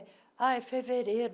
ah É fevereiro.